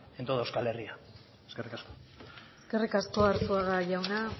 en toda euskal herria eskerrik asko eskerrik asko arzuaga jauna